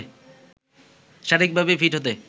শারীরিকভাবে ফিট হতে